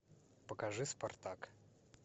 покажи спартак